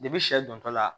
sɛ dontɔla